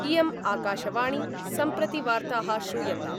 इयम् आकाशवाणी सम्प्रति वार्ता: श्रूयन्ताम्